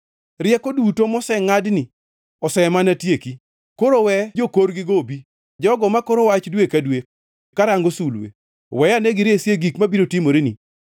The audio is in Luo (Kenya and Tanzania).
Rieko duto mosengʼadni osemana tieki! Koro we jokorgigo obi, jogo makoro wach dwe ka dwe karango sulwe, weyane giresi e gik mabiro timoreni.